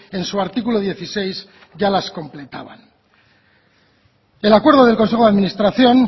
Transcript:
en su artículo dieciséis ya las completaban el acuerdo del consejo de administración